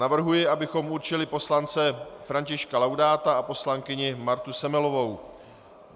Navrhuji, abychom určili poslance Františka Laudáta a poslankyni Martu Semelovou.